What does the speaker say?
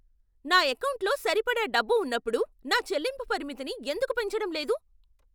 నా ఎకౌంటులో సరిపడా డబ్బు ఉన్నప్పుడు నా చెల్లింపు పరిమితిని ఎందుకు పెంచడం లేదు?